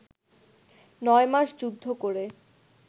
নয় মাস যুদ্ধ করে